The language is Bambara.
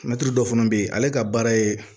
Mɛtiri dɔ fana bɛ yen ale ka baara ye